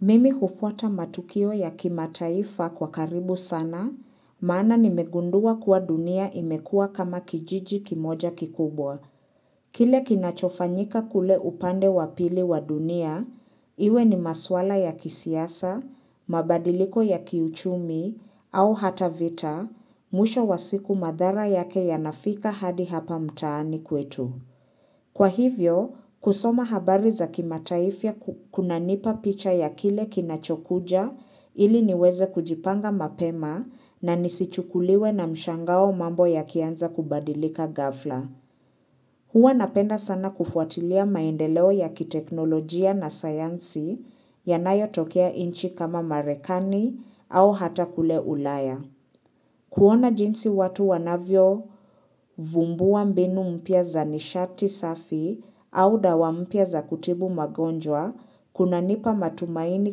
Mimi hufuata matukio ya kimataifa kwa karibu sana, maana nimegundua kuwa dunia imekuwa kama kijiji kimoja kikubwa. Kile kinachofanyika kule upande wapili wa dunia, iwe ni maswala ya kisiasa, mabadiliko ya kiuchumi, au hata vita, mwisho wa siku madhara yake yanafika hadi hapa mtaani kwetu. Kwa hivyo, kusoma habari za kimataifia kuna nipa picha ya kile kinachokuja ili niweze kujipanga mapema na nisichukuliwe na mshangao mambo ya kianza kubadilika ghafla. Huwa napenda sana kufuatilia maendeleo ya kiteknolojia na sayansi yanayo tokea inchi kama marekani au hata kule ulaya. Kuona jinsi watu wanavyo vumbuwa mbinu mpya za nishati safi au dawa mpya za kutibu magonjwa kuna nipa matumaini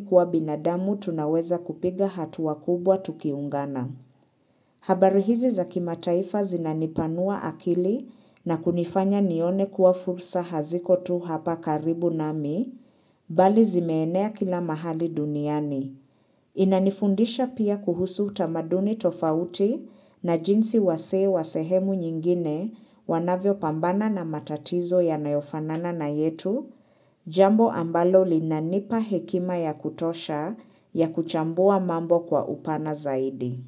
kuwa binadamu tunaweza kupiga hatua kubwa tukiungana. Habari hizi za kima taifa zinanipanua akili na kunifanya nione kuwa fursa hazikotu hapa karibu nami, bali zimeenea kila mahali duniani. Inanifundisha pia kuhusu utamaduni tofauti na jinsi wasee wasehemu nyingine wanavyo pambana na matatizo ya nayofanana na yetu, jambo ambalo linanipa hekima ya kutosha ya kuchambua mambo kwa upana zaidi.